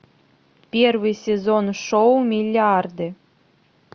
первый сезон шоу миллиарды